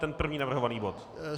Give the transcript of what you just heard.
Ten první navrhovaný bod?